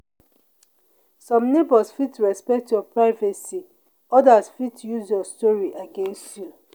some neighbors fit respect your privacy others fit use your story against you.